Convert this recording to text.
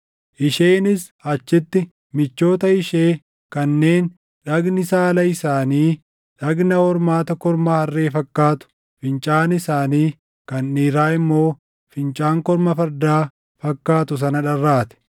Isheenis achitti michoota ishee kanneen dhagni saala isaanii, dhagna hormaata korma harree fakkaatu, fincaan isaanii kan dhiiraa immoo fincaan korma fardaa fakkaatu sana dharraate.